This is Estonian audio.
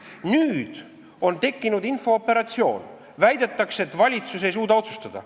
Nüüd on tekkinud infooperatsioon, väidetakse, et valitsus ei suuda otsustada.